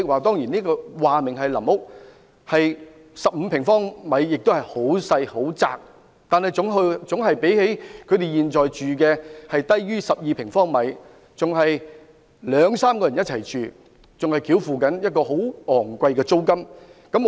由於說明是臨屋 ，15 平方米其實也是很狹窄的，但總較他們現時居於面積不足12平方米較好，而且他們現時是要兩三人一同居住，並要繳付昂貴租金。